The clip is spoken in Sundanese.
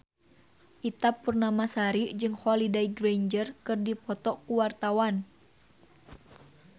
Ita Purnamasari jeung Holliday Grainger keur dipoto ku wartawan